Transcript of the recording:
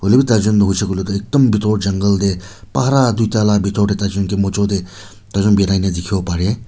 etu tai jun huishae kuilae tho ekdum bitor jungle dae tuita la bitor dae tai jun kae majo dae tai jun birai na tikibo bare.